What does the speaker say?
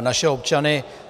naše občany.